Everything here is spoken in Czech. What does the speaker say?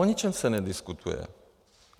O ničem se nediskutuje.